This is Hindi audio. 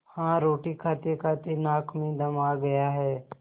हाँ रोटी खातेखाते नाक में दम आ गया है